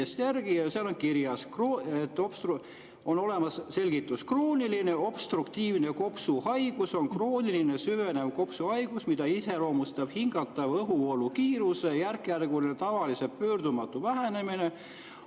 Ma vaatasin Vikipeediast järele ja seal on kirjas selline selgitus: "Krooniline obstruktiivne kopsuhaigus on krooniline süvenev kopsuhaigus, mida iseloomustab hingatava õhuvoolu kiiruse järkjärguline ja tavaliselt pöördumatu vähenemine.